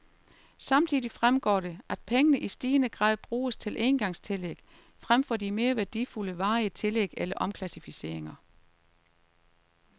Samtidig fremgår det, at pengene i stigende grad bruges til engangstillæg, fremfor de mere værdifulde varige tillæg eller omklassificeringer.